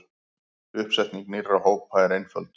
Uppsetning nýrra hópa er einföld.